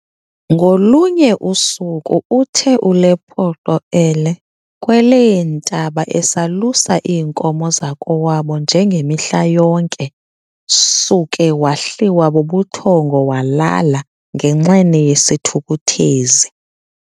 Ngolunye usuku uthe uLepoqo elee kweleentaba esalusa iinkomo zakowabo nje ngemihla yonke, suka wahliwa bubuthongo walala ngenxeni yesithukuthezi.